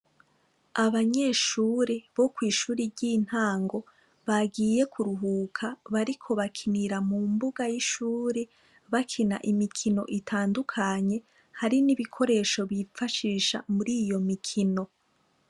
Abnyeshure bo kw'ishuri ry'intango bagiye kuruhuka bariko bakinira mu mbuga y'ishure bakina imikino itandukanye hari n'ibikoresho bifashisha muriyo mikino.